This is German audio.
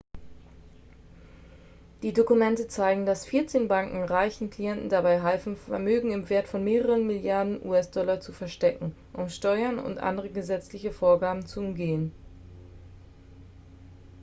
die dokumente zeigten dass vierzehn banken reichen klienten dabei halfen vermögen im wert von mehreren milliarden us-dollar zu verstecken um steuern und andere gesetzliche vorgaben zu umgehen